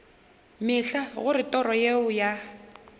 mehla gore toro yeo ya